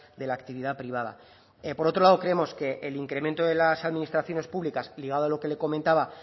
de la actividad privada por otro lado creemos que el incremento de las administraciones públicas ligado a lo que le comentaba